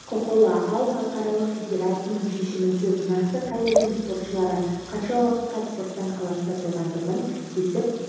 құқылы ал халықаралық федерацияның шешімінсіз нақты қай елдің спортшылары қанша уақытқа спорттан аластатылғандығын кесіп